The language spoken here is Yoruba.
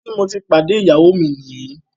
Ìbí tí mo ti pàdé ìyáwó mi ní yí